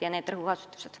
Sealt need rõhuasetused.